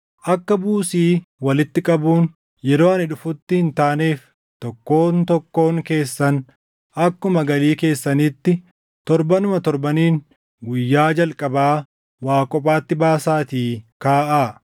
Akka buusii walitti qabuun yeroo ani dhufutti hin taaneef tokkoon tokkoon keessan akkuma galii keessaniitti torbanuma torbaniin guyyaa jalqabaa waa kophaatti baasaatii kaaʼaa.